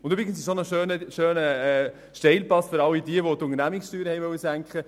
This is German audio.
Übrigens ist das auch ein schöner Steilpass für all jene, die die Unternehmenssteuern senken wollten.